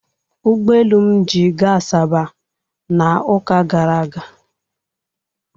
Ụgbọelu m ji gaa Asaba n'ụka gara aga.